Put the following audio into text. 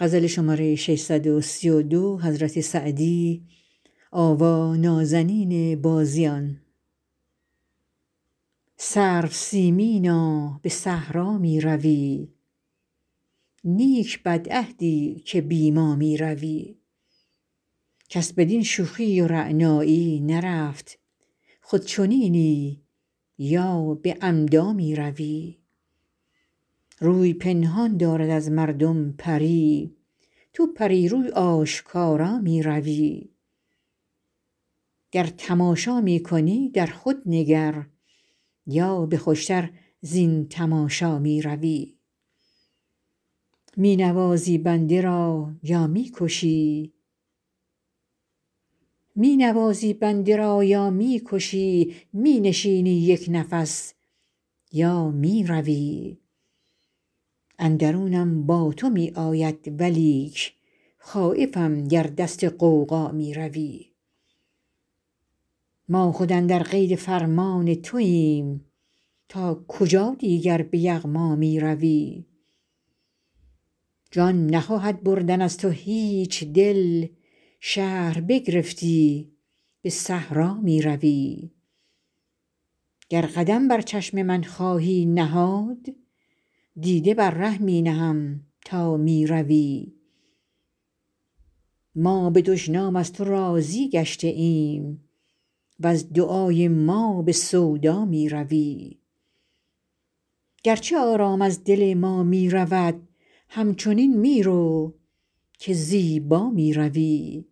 سرو سیمینا به صحرا می روی نیک بدعهدی که بی ما می روی کس بدین شوخی و رعنایی نرفت خود چنینی یا به عمدا می روی روی پنهان دارد از مردم پری تو پری روی آشکارا می روی گر تماشا می کنی در خود نگر یا به خوش تر زین تماشا می روی می نوازی بنده را یا می کشی می نشینی یک نفس یا می روی اندرونم با تو می آید ولیک خایفم گر دست غوغا می روی ما خود اندر قید فرمان توایم تا کجا دیگر به یغما می روی جان نخواهد بردن از تو هیچ دل شهر بگرفتی به صحرا می روی گر قدم بر چشم من خواهی نهاد دیده بر ره می نهم تا می روی ما به دشنام از تو راضی گشته ایم وز دعای ما به سودا می روی گرچه آرام از دل ما می رود همچنین می رو که زیبا می روی